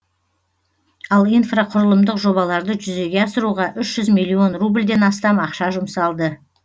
ал инфрақұрылымдық жобаларды жүзеге асыруға үш жүз миллион рубльден астам ақша жұмсалды